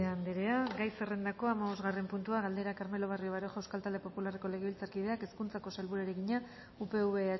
anderea gai zerrendako hamabosgarren puntua galdera carmelo barrio baroja euskal talde popularreko legebiltzarkideak hezkuntzako sailburuari egina upv